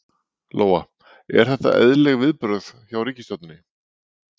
Lóa: Eru þetta eðlileg viðbrögð hjá ríkisstjórninni?